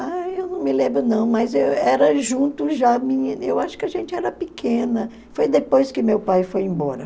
Ah, eu não me lembro não, mas eu era junto já, eu acho que a gente era pequena, foi depois que meu pai foi embora.